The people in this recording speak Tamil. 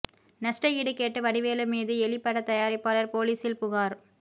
நஷ்ட ஈடு கேட்டு வடிவேலு மீது எலி படத் தயாரிப்பாளர் போலீஸில் புகார்